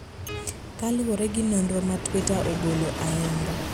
kaluwore gi nonro ma Twitter ogolo ayanga.